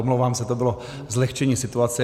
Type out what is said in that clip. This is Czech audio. Omlouvám se, to bylo zlehčení situace.